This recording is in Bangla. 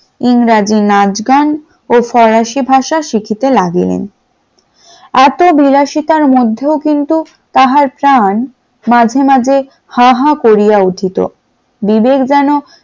ইংরেজি নাচগান ও ফরাসি ভাষা শিখিতে লাগিলেন । এত বিলাসিতার মধ্যেও কিন্তু তাহার প্রাণ মাঝে মাধ্য হাহা করিয়া উঠিত বিবেক যেন